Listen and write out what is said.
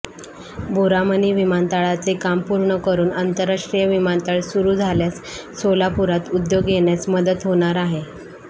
बोरामणी विमानतळाचे काम पूर्ण करुन आंतरराष्ट्रीय विमानतळ सुरु झाल्यास सोलापुरात उद्योग येण्यास मदत होणार आहे